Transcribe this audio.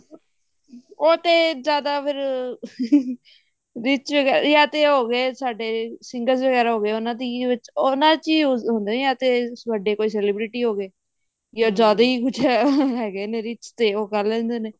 ਉਹ ਤੇ ਇਆਦਾ ਫ਼ੇਰ ਵਿੱਚ ਯਾ ਤੇ ਹੋਗੇ ਸਾਡੇ ਸੀ singers ਵ੍ਗ੍ਰਇਆ ਹੋਗੇ ਉਹਨਾ ਦੀ ਉਹਨਾ ਚ use ਹੁੰਦੇ ਜਾਂ ਤੇ ਜਿਵੇਂ ਵੱਡੇ ਕੋਈ celebrity ਹੋਗੇ ਜਾਂ ਜਿਆਦਾ ਹੀ ਹਿਆਗੇ ਨੇ rich ਤੇ ਉਹ ਕਰ ਲੈਂਦੇ ਨੇ